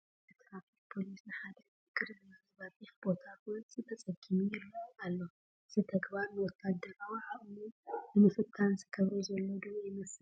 ሓደ ትራፊክ ፖሊስ ንሓደ ጥንክል ዝበለ በሪኽ ቦታ ክወፅእ ተፀጊሙ ይርአ ኣሎ፡፡ እዚ ተግባር ንወታደራዊ ዓቕሙ ንምፍታን ዝገብሮ ዘሎ ዶ ይመስል?